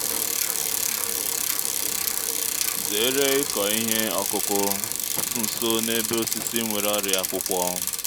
zere ịkọ ihe ọkụkụ nso n’ebe osisi nwere ọrịa akwụkwọ